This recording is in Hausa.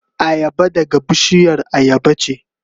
Ayaba daga bishiyar ayaba ce.